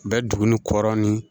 Bɛ duguni kɔrɔn ni